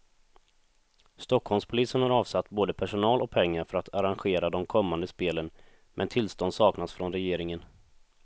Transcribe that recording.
Stockholmspolisen har avsatt både personal och pengar för att arrangera de kommande spelen, men tillstånd saknas från regeringen.